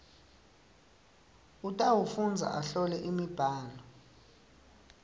utawufundza ahlole imibhalo